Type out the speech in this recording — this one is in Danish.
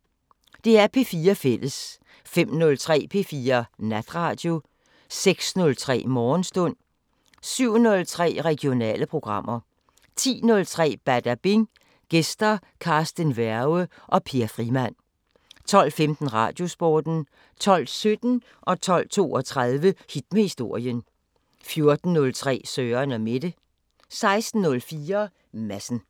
05:03: P4 Natradio 06:03: Morgenstund 07:03: Regionale programmer 10:03: Badabing: Gæster Carsten Werge & Per Frimann 12:15: Radiosporten 12:17: Hit med historien 12:32: Hit med historien 14:03: Søren & Mette 16:04: Madsen